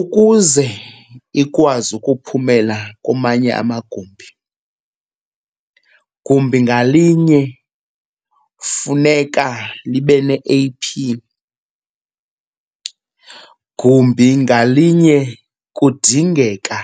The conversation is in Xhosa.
Ukuze ikwazi ukuphumela kumanye amagumbi, gumbi ngalinye kufuneka libe ne-A_P. Gumbi ngalinye kudingeka